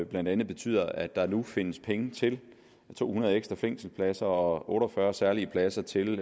blandt andet betyder at der nu findes penge til to hundrede ekstra fængselspladser og otte og fyrre særlige pladser til